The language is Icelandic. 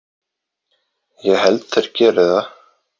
Ég held þeir geri það.